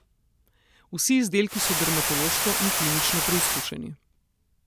Vsi izdelki so dermatološko in klinično preizkušeni.